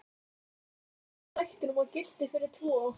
Allt í einum og sama drættinum og gilti fyrir tvo!